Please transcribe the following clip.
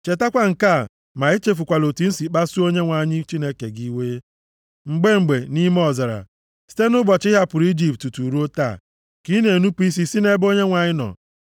Chetakwa nke a ma echefukwala otu i si kpasuo Onyenwe anyị Chineke gị iwe, mgbe mgbe, nʼime ọzara. Site nʼụbọchị ị hapụrụ Ijipt tutu ruo taa, ka ị na-enupu isi nʼebe Onyenwe anyị nọ.